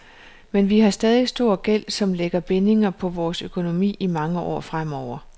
Men vi har stadig stor gæld, som lægger bindinger på vores økonomi i mange år fremover.